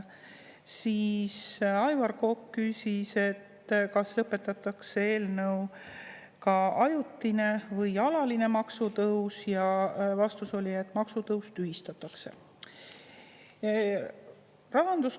Aivar Kokk küsis, kas lõpetatakse ka ajutine või alaline maksutõus, ja vastus oli, et maksutõus tühistatakse.